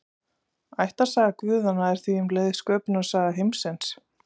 Ættarsaga guðanna er því um leið sköpunarsaga heimsins.